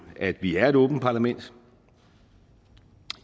at vi er et åbent parlament